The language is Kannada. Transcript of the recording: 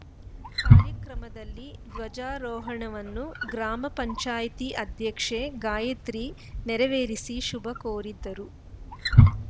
ಕಾರ್ಯಕ್ರಮದಲ್ಲಿ ಧ್ವಜಾರೋಹಣವನ್ನು ಗ್ರಾಮ ಪಂಚಾಯಿತಿ ಅಧ್ಯಕ್ಷೆ ಗಾಯತ್ರಿ ನೆರವೇರಿಸಿ ಶುಭ ಕೋರಿದರು